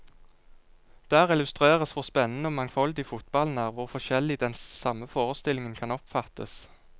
Der illustreres hvor spennende og mangfoldig fotballen er, hvor forskjellig den samme forestillingen kan oppfattes.